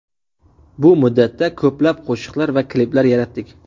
Bu muddatda ko‘plab qo‘shiqlar va kliplar yaratdik.